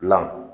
Dilan